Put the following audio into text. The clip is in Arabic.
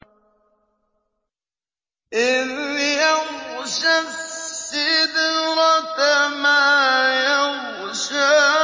إِذْ يَغْشَى السِّدْرَةَ مَا يَغْشَىٰ